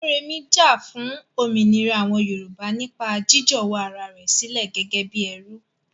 Moremi jà fún òmìnira àwọn Yorùbá nípa jiíjọ̀wọ́ ara rẹ̀ sílẹ̀ gẹ́gẹ́ bí ẹrú.